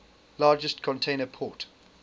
largest container port